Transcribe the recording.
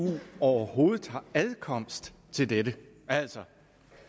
overhovedet har adkomst til dette altså